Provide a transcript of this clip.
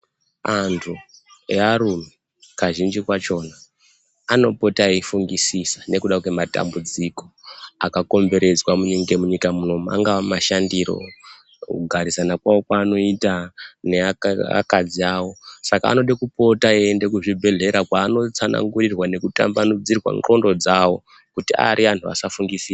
Anthu earume kazhinji kwachona anopota eifungisisa nekuda kwematambudziko akakomberedzwa ngemunyika munomu angava mashandiro kugarisana kwao kwaanoita nevakadzi vavo saka anode kupota eienda kuzvibhedhlera kwaanotsanangurirwa nekutambanudze ndxondo dzao kuti ari anthu asafungisisa.